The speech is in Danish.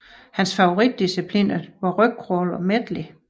Hans favoritdiscipliner var rygcrawl og medley